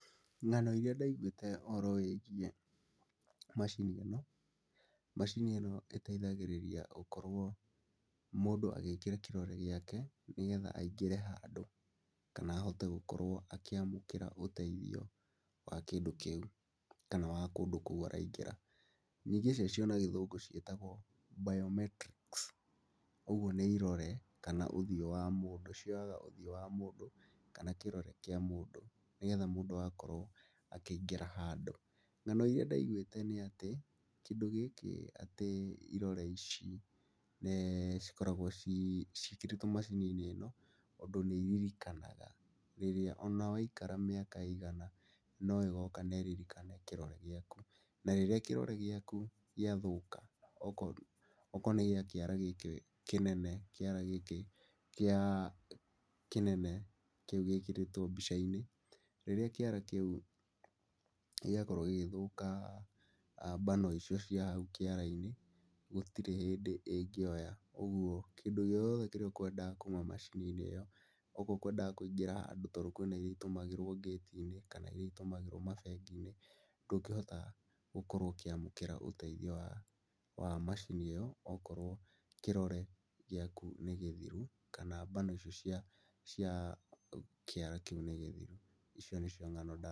Ng'ano irĩa ndaiguĩte ũhoro wĩgiĩ macini ĩno, macini ĩno ĩteithagĩrĩria gũkorwo mũndũ agĩkĩra kĩrore gĩake nĩgetha aingĩre handũ kana ahote gũkorwo akĩamũkĩra ũteithio wa kĩndũ kĩu, kana wa kũndũ kũu araingĩra. Nyingĩ ciacio na gĩthũngũ ciĩtagwo biometrics. Ũguo nĩ irore kana ũthiũ wa mũndũ, cioyaga ũthiũ wa mũndũ, kana kĩrore kĩa mũndũ, nĩgetha mũndũ agakorwo akĩingĩra handũ. Ng'ano irĩa ndaiguĩte nĩ atĩ, kĩndũ gĩkĩ atĩ irore ici nĩ cikoragwo ciĩkĩrĩtwo macini-inĩ ĩno tondũ nĩ iririkanaga rĩrĩa ona waikara mĩaka ĩigana no ĩgoka na ĩririkane kĩrore gĩaku. Na rĩrĩa kĩrore gĩaku gĩathũka okorwo nĩ gĩa kĩara gĩkĩ kĩnene, kĩara gĩkĩ kĩa kĩnene kĩu gĩkĩrĩtwo mbica-inĩ, rĩrĩa kĩara kĩu gĩakorwo gĩgĩthũka mbano icio cia hau kĩara-inĩ, gũtirĩ hĩndĩ ĩngĩoya. Ũguo kĩndũ gĩothe kĩrĩa ũkwendaga kuuma macini-inĩ ĩyo, okorwo ũkwendaga kũingĩra handũ ta rĩu kwĩna irĩa itũmĩragwo gati-inĩ kana irĩa itũmagĩrwo mabengi-inĩ. Ndũngĩhota gũkorwo ũkĩamũkĩra ũteithio wa macini ĩyo okorwo kĩrore gĩaku nĩ gĩthiru kana mbano icio cia kĩara kĩu nĩ thiru. Icio nĩcio ng'ano ndaiguĩte.